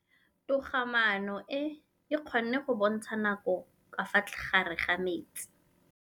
Toga-maanô e, e kgona go bontsha nakô ka fa gare ga metsi.